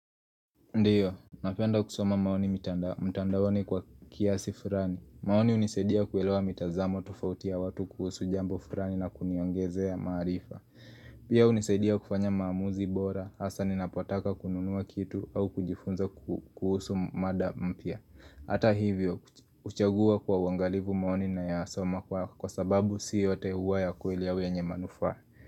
Ndio, napenda kusoma maoni mtandaoni kwa kiasi fulani. Maoni hunisaidia kuelewa mitazamo tofauti ya watu kuhusu jambo fulani na kuniongezea maarifa. Pia hunisaidia kufanya maamuzi bora, hasa ninapotaka kununua kitu au kujifunza kuhusu mada mpya. Hata hivyo, huchagua kwa uangalifu maoni nayasoma kwa sababu si yote huwa ya kweli au yenye manufaa.